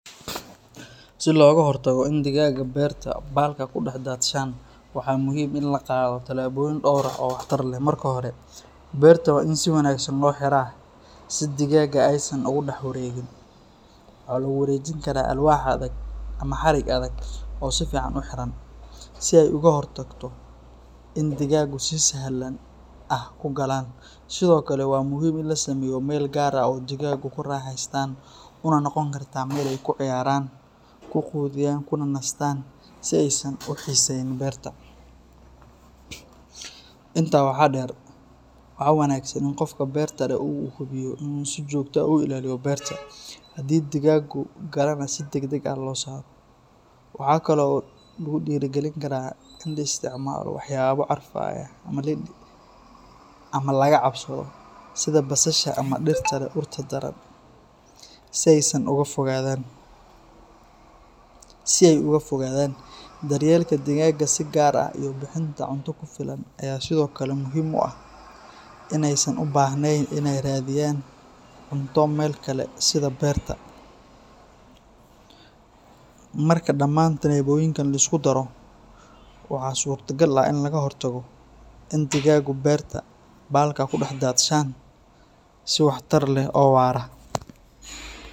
Si looga hortago in digaaggu beerta balka ku dhex daadshaan, waxaa muhiim ah in la qaado tallaabooyin dhowr ah oo waxtar leh. Marka hore, beerta waa in si wanaagsan loo xiraa si digaagga aysan ugu dhex wareegin. Waxaa lagu wareejin karaa alwaax adag ama xarig adag oo si fiican u xiran, si ay uga hor tagto in digaaggu si sahal ah ku galaan. Sidoo kale, waa muhiim in la sameeyo meel gaar ah oo digaaggu ku raaxaystaan una noqon karta meel ay ku ciyaaraan, ku quudiyaan kuna nastaan si aysan u xiisayn beerta. Intaa waxaa dheer, waxaa wanaagsan in qofka beerta leh uu hubiyo inuu si joogto ah u ilaaliyo beerta, hadii digaaggu galaanna si degdeg ah loo saaro. Waxaa kale oo lagu dhiirrigelin karaa in la isticmaalo waxyaabo carfaya ama laga cabsado sida basasha ama dhirta leh urta daran si ay uga fogaadaan. Daryeelka digaagga si gaar ah iyo bixinta cunto ku filan ayaa sidoo kale muhiim u ah in aysan u baahnayn inay raadiyaan cunto meel kale sida beerta. Marka dhammaan tallaabooyinkan la isku daro, waxaa suuragal ah in laga hortago in digaaggu beerta balka ku dhex daadsadaan si waxtar leh oo waara.